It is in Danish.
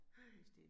Nej